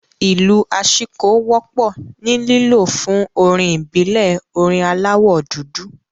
Ìlù aṣíko wọ́pọ̀ ni lílo fún orin ìbílẹ̀ orin aláwọ̀ dúdú